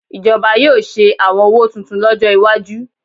Ìjọba yóò ṣe àwọn owó tuntun lọ́jọ́ iwájú